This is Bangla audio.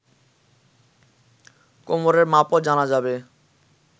কোমরের মাপও জানা যাবে